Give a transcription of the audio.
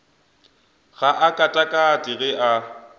ga a katakate ge a